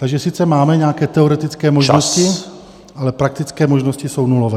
Takže sice máme nějaké teoretické možnosti -- ale praktické možnosti jsou nulové.